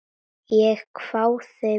Ég hváði við.